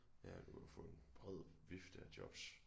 Ja du kan få en bred vifte af jobs